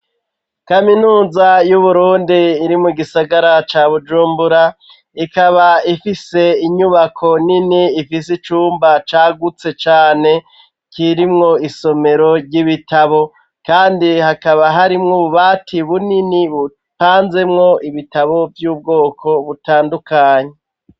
Kaminuza y'Uburundi iri mu gisagara ca Bujumbura, ikaba ifise inyubako nini ifise icumba cagutse cane kirimwo isomero ry'ibitabo kandi hakaba harimwo ububati bunini bupanzemwo ibitabo vy'ubwoko butandukanye.